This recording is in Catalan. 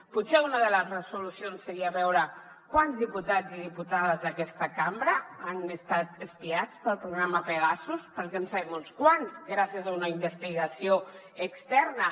potser una de les resolucions seria veure quants diputats i diputades d’aquesta cambra han estat espiats pel programa pegasus perquè en sabem uns quants gràcies a una investigació externa